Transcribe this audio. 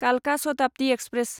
कालका शताब्दि एक्सप्रेस